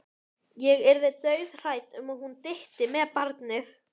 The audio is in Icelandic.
Ég yrði dauðhrædd um að hún dytti með barnið.